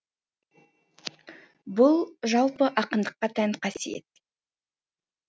бұл жалпы ақындыққа тән қасиет